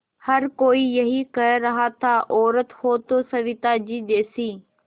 हर कोई यही कह रहा था औरत हो तो सविताजी जैसी